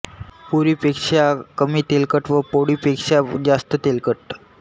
पुरी पेक्षा कमी तेलकट व पोळी पेक्षा जास्त तेलकट